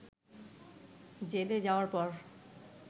জেলে যাওয়ার পর